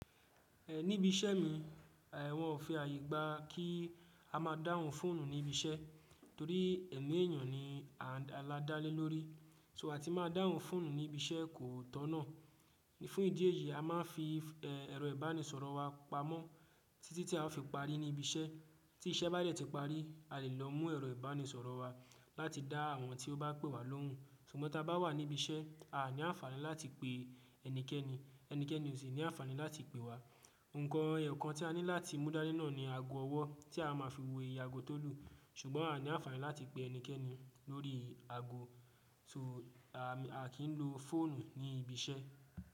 Níbi iṣẹ́ mi, wọn ò fi àyè gba kí a máa dáhùn fóònù ní ibi iṣẹ́, torí ẹ̀mí èèyàn ni a dá lé lórí. So a ti máa dáhùn fóònù ní ibi iṣẹ́ kò tọ̀nà. Fún ìdí èyí, a máà ń fi ẹ̀rọ ìbánisọ̀rọ̀ wa pamọ́ títí tí a fi parí ní ibi iṣẹ́. Tí iṣẹ́ bá dẹ̀ ti parí, a lè lọ mú ẹ̀rọ ìbánisọ̀rọ̀ wa láti dá àwọn tí ó bá pè wa lóhùn. Ṣùgbọ́n ta bá wà níbi iṣẹ́, a ní àǹfààní láti pè ẹnikẹ́ni, ẹnikẹ́ni ó sì ní àǹfààní láti pè wa. Nǹkan eyo kan tí a ní láti mú dá ni náà ni ago ọwọ́ tí a má fi wo ìye àgo tó lù. Ṣùgbọ́n a ní àǹfààní láti pe ẹnikẹ́ni lórí ago. A kì n lo fóònù ní ibi iṣẹ́.